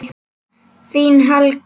Þín Helga.